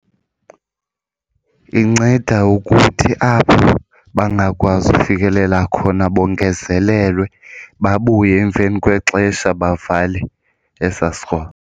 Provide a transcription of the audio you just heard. Inceda ukuthi apho bangakwazi ukufikelela khona bongezelelwe babuye emveni kwexesha bavale esaa sikroba.